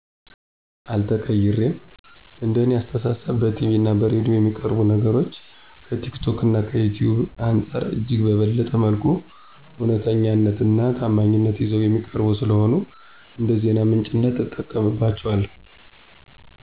አልተቀይሬም። እንደ እኔ አስተሳሰብ በቲቪ እና በሬዲዮ የሚቀርቡ ነገሮች ከቲክቶክ እና ከዩቲዩብ አንፃር እጅግ በበለጠ መልኩ እውነተኛነት እና ታማኝነት ይዘው የሚቀርቡ ስለሆኑ እንደዜና ምንጭነት እጠቀምባቸዋለሁ።